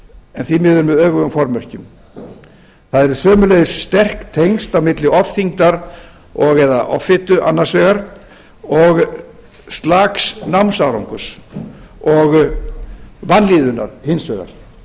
en því miður með öfugum formerkjum það eru sömuleiðis sterk tengsl á milli ofþyngdar og eða offitu annars vegar og slaks námsárangurs og vanlíðunar hins vegar